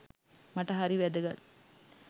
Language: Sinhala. මට හරි වැදගත්.